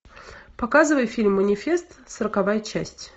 показывай фильм манифест сороковая часть